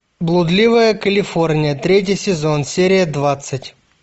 блудливая калифорния третий сезон серия двадцать